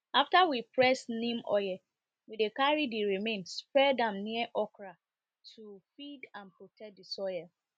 after we press neem oil we dey carry the remain spread am near okra to feed and protect the soil